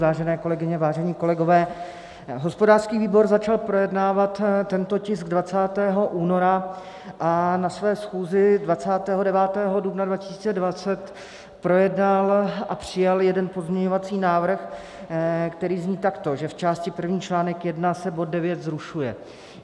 Vážené kolegyně, vážení kolegové, hospodářský výbor začal projednávat tento tisk 20. února a na své schůzi 29. dubna 2020 projednal a přijal jeden pozměňovací návrh, který zní takto - že v části první článek 1 se bod 9 zrušuje.